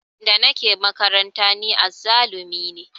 Da nake makaranta ni azzalumi ne